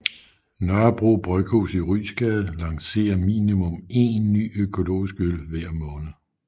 Nørrebro Bryghus i Ryesgade lancerer minimum én ny økologisk øl hver måned